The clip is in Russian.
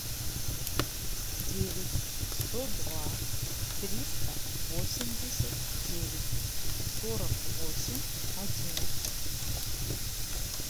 девять сто два триста восемьдесят девять сорок восемь одиннадцать